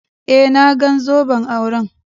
Eh, na gan zoben auren.